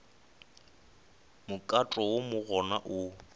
mokato wo mo go ona